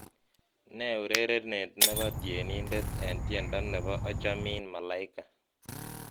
nee arorunet nebo tienindet en tiendo nebo achomin malaika